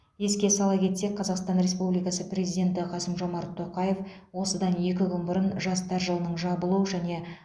еске сала кетсек қазақстан республикасы президенті қасым жомарт тоқаев осыдан екі күн бұрын жастар жылының жабылу және